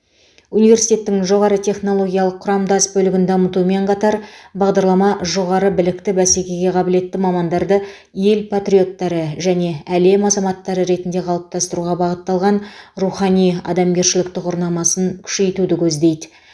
университеттің жоғары технологиялық құрамдас бөлігін дамытумен қатар бағдарлама жоғары білікті бәсекеге қабілетті мамандарды ел патриоттары және әлем азаматтары ретінде қалыптастыруға бағытталған рухани адамгершілік тұғырнамасын күшейтуді көздейді